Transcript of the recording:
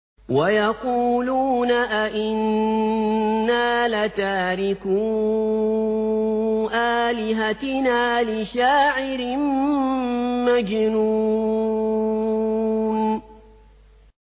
وَيَقُولُونَ أَئِنَّا لَتَارِكُو آلِهَتِنَا لِشَاعِرٍ مَّجْنُونٍ